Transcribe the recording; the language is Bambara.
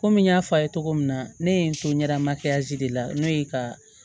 Komi n y'a fɔ a ye cogo min na ne ye n to ɲɛda de la n'o ye ka